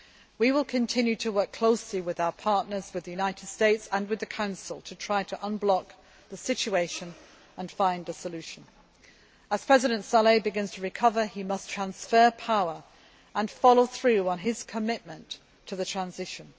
We will continue to work closely with our partners, with the United States and with the Council, to try to unblock the situation and find a solution. As President Saleh begins to recover, he must transfer power and follow through on his commitment to the transition.